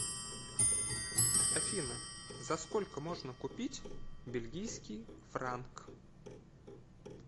афина за сколько можно купить бельгийский франк